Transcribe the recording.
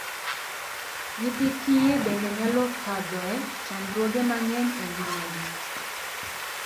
Nyithii kiye bende nyalo okadhoe chandruoge mang'eny e ngimagi.